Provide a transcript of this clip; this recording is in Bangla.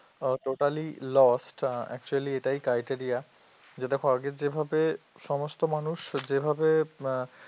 ও totally lossactually এটাই criteria যে দেখো আগে যেভাবে সমস্ত মানুষ যেভাবে আহ